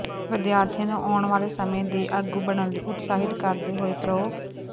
ਵਿਦਿਆਰਥੀਆਂ ਨੂੰ ਆਉਣ ਵਾਲੇ ਸਮੇਂ ਦੇ ਆਗੂ ਬਣਨ ਲਈ ਉਤਸਾਹਿਤ ਕਰਦੇ ਹੋਏ ਪ੍ਰੋ